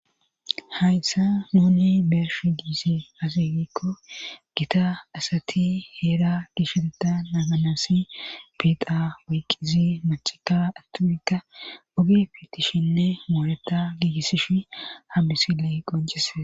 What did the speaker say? hayssa nuni beersh diisi asigikko gita asati heera gisheteta naganasi biixa woyqqizi macaka attupikka ogi fitishinne mooreta giigisish hambisile qoncise